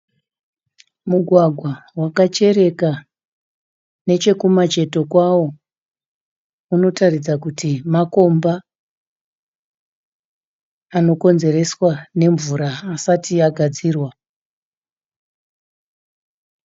Mugwagwa wakachereka nechekumacheto kwawo unoratidza kuti makomba anokonzereswa nemvura asati agadzirwa.